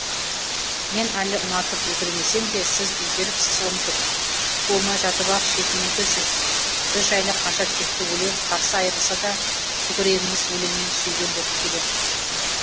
мен әлі ұнатып үлгермесем де сіз үлгеріпсіз ұмытып туылмай жатып ақ шетінеді жүз біз жайлы қанша текті өлең қарсы айырылса да көкірегіңіз өлеңмен сүйген боп келем